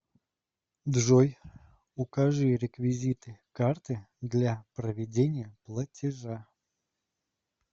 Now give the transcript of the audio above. джой укажи реквизиты карты для проведения платежа